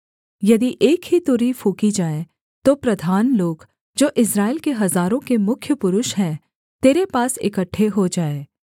यदि एक ही तुरही फूँकी जाए तो प्रधान लोग जो इस्राएल के हजारों के मुख्य पुरुष हैं तेरे पास इकट्ठे हो जाएँ